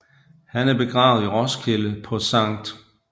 Han er begravet i Roskilde på Skt